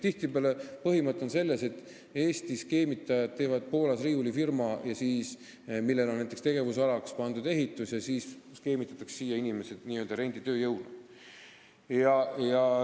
Tihtipeale on põhimõte selles, et Eesti skeemitajad teevad Poolas riiulifirma, mille tegevusalaks on märgitud näiteks ehitus, ja siis skeemitatakse siia inimesed n-ö renditööjõuna.